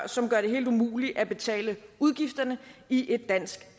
som gør det helt umuligt at betale udgifterne i et dansk